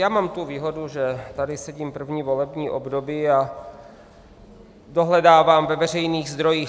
Já mám tu výhodu, že tady sedím první volební období a dohledávám ve veřejných zdrojích.